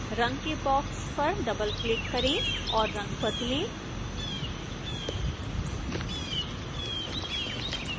रंग के बॉक्स पर डबलक्लिक करें और रंग बदलें